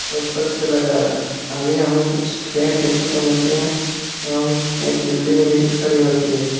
Road पर चला जा रहा है आगे हमें कुछ पैंट देखने को मिलते हैं एवं एक बिल्डिंग भी खड़ी होती है।